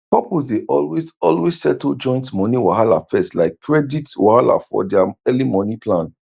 couples dey always always settle joint moni wahala first like credit wahala for dia early moni plan